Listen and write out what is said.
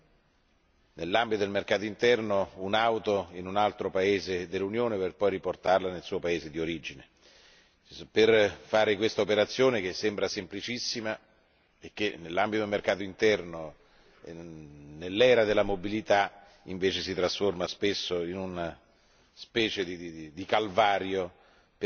che grava su chi decide di acquistare, nell'ambito del mercato interno, un'auto in un altro paese dell'Unione per poi riportarla nel suo paese di origine. Questa operazione, che sembra semplicissima, nell'ambito del mercato interno e nell'era della mobilità, spesso si trasforma invece in una